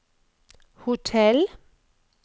hotell